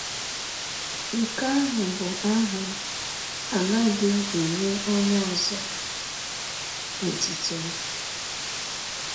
Nke ahụ bụ aha m; Anaghị m enye onye ọzọ otuto m. ”